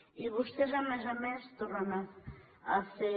i vostès a més a més tornen a fer